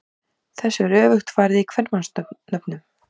Þessu er öfugt farið í kvenmannsnöfnum.